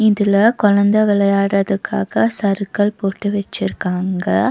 இதுல கொழந்த விளையாடறதுக்காக சறுக்கல் போட்டு வெச்சிருக்காங்க.